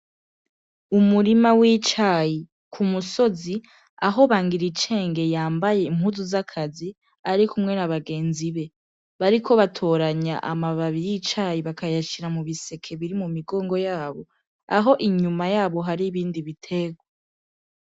Umurima w'icayi k'umusozi aho Bangiricenge yambaye impuzu zakazi arikumwe n'abagenzi be bariko batoranya amababi y'icayi bakayashira mubiseke biri k'umigongo yaco aho inyuma yabo hari ibindi biterwa